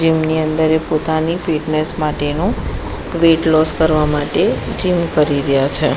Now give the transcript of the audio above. Gym ની અંદર એ પોતાની ફિટનેસ માટેનુ વેઈટ લોસ કરવા માટે જીમ કરી રયા છે.